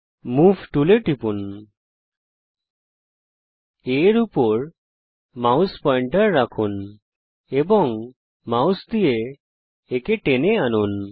move টুলে টিপুন A এর উপর মাউস পয়েন্টার রাখুন এবং মাউস দিয়ে একে টেনে আনুন